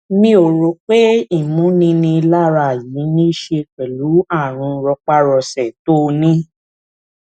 mi ò rò pé ìmúninilára yìí ní í ṣe pẹlú ààrùn rọpárọsẹ tó o ní